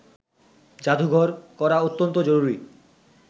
জাদুঘর করা অত্যন্ত জরুরি